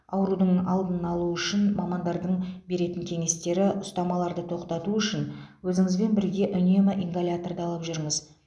аурудың алдын алу үшін мамандардың беретін кеңестері ұстамаларды тоқтату үшін өзіңізбен бірге үнемі ингаляторды алып жүріңіз